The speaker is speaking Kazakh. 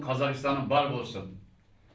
қазақстаным бар болсын